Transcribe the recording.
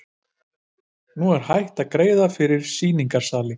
Hún er hætt að greiða fyrir sýningarsali.